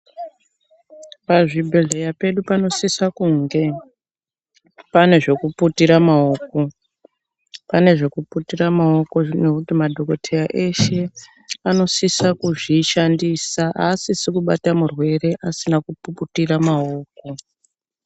Pazvibhedhlera pedu panosise kunge pane zvekuputira maoko, pane zvekuputira maoko ngekuti madhokotera eshe anosise kuzvishandisa, aasisi kubata murwere asina kuputira maoko.